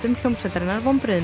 hljómsveitarinnar vonbrigðum